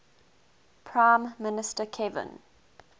prime minister kevin